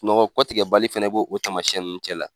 Sunɔgɔ kɔtigɛ bali fɛnɛ b'o o tamasiyɛn ninnu cɛ la.